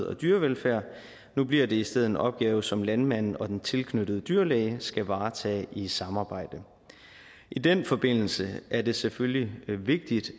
og dyrevelfærd nu bliver det i stedet en opgave som landmanden og den tilknyttede dyrlæge skal varetage i samarbejde i den forbindelse er det selvfølgelig vigtigt